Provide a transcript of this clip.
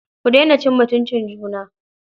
Ku daina cin mutuncin juna.